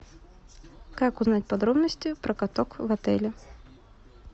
как узнать подробности про каток в отеле